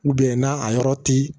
na a yɔrɔ ti